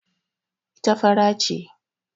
Ita fara ce.